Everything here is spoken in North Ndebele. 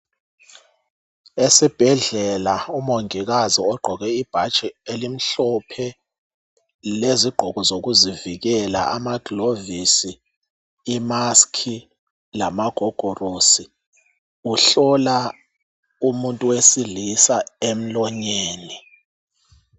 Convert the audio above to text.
Esibhedlela umongikazi ogqoke ibhatshi elimhlophe lezigqoko zokuzivikela amagilovisi,i"mask" lamagogorosi. Uhlola umuntu wesilisa emlonyeni.